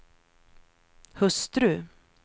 hustru